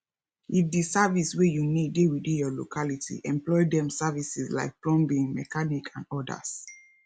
if di service wey you need dey within your locality employ dem services like plumbing mechanic and odas